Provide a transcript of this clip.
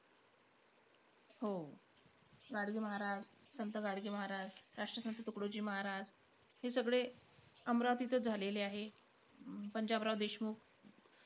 हो. गाडगे महाराज, संत गाडगे महाराज, राष्ट्रसंत तुकडोजी महाराज हे सगळे अमरावतीतंच झालेले आहे. पंजाबराव देशमुख.